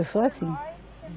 Eu sou assim.